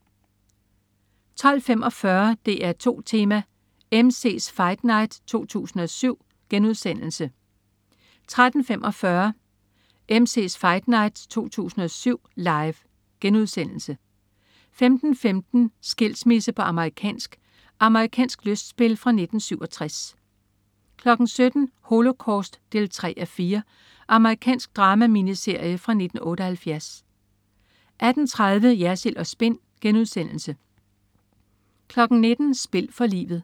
12.45 DR2 Tema: MC's Fight Night 2007* 13.45 MC's Fight Night 2007. Live* 15.15 Skilsmisse på amerikansk. Amerikansk lystspil fra 1967 17.00 Holocaust 3:4. Amerikansk drama-miniserie fra 1978 18.30 Jersild & Spin* 19.00 Spil for livet.